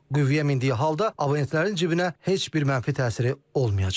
Qüvvəyə mindiyi halda abonentlərin cibinə heç bir mənfi təsiri olmayacaq.